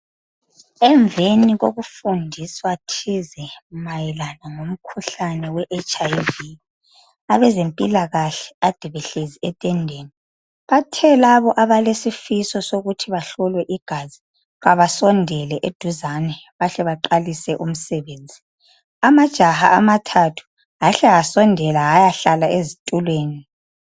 Emveni kokufundiswa thize mayelana lomkhuhlane we HIV .Abezempilakahle ade behlezi etendeni bathe labo abalesifiso sokuthi bahlolwe igazi abasondele eduzane bahle baqalise umsebenzi . Amajaha amathathu ahle asondela ayahlala ezitulweni .